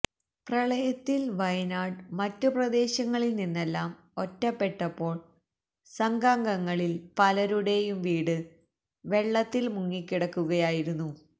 പ്രളയത്തില് വയനാട് മറ്റുപ്രദേശങ്ങളിൽ നിന്നെല്ലാം ഒറ്റപ്പെട്ടപ്പോള് സംഘാംഗങ്ങളില് പലരുടെയും വീട് വെള്ളത്തില് മുങ്ങിക്കിടക്കുകയായിരുന്നു